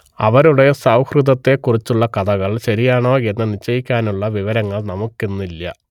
അവരുടെ സൗഹൃദത്തെക്കുറിച്ചുള്ള കഥകൾ ശരിയാണോ എന്ന് നിശ്ചയിക്കാനുള്ള വിവരങ്ങൾ നമുക്കിന്നില്ല